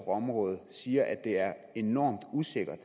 området siger at det er enormt usikkert